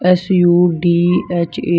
S U D H A --